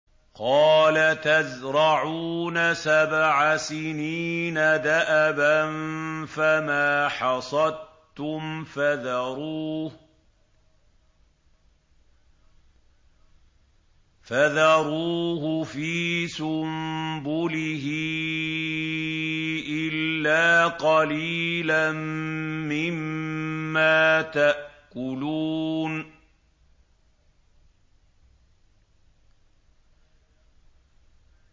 قَالَ تَزْرَعُونَ سَبْعَ سِنِينَ دَأَبًا فَمَا حَصَدتُّمْ فَذَرُوهُ فِي سُنبُلِهِ إِلَّا قَلِيلًا مِّمَّا تَأْكُلُونَ